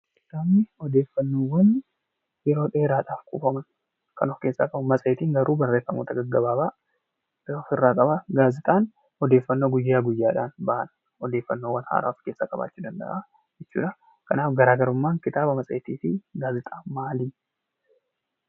Kitaabani odeeffannoowwan yeroo dheeraaf kuufaman kan of keessaa qabuu dha. Matseetiin garuu barreeffama gaggabaabaa kan of irraa qabuu dha. Gaazexaan odeeffannoo guyyaa guyyaadhaan ba'an, odeeffannoo haaraawwaa of keessaa qabaachuu danda'a. Kanaaf garaagarummaan kitaaba, matseetii fi gaazexaawwanii maal?